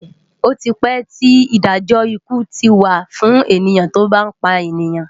Oti pè ti Idájò ikú ti wá fún èni tó bá pánìyàn